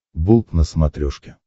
болт на смотрешке